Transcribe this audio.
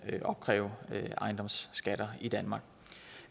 opkræve ejendomsskatter i danmark